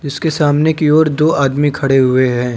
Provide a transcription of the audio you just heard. इसके सामने की ओर दो आदमी खड़े हुए है।